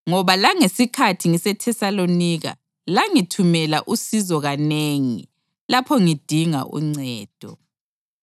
ngoba langesikhathi ngiseThesalonika langithumela usizo kanengi lapho ngidinga uncedo.